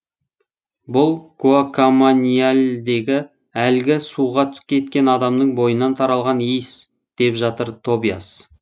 бұл гуакамайяльдегі әлгі суға кеткен адамның бойынан таралған иіс деп жатыр тобиас